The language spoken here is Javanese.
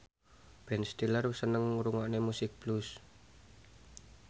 Ben Stiller seneng ngrungokne musik blues